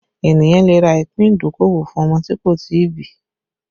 Ènìyàn lè rà ìpín ìdókòwò fún ọmọ tí kò tí ì bí